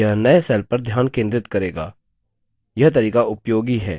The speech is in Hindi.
यह नए cell पर ध्यान केंद्रित करेगा